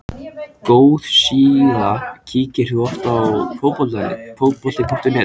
góð síða Kíkir þú oft á Fótbolti.net?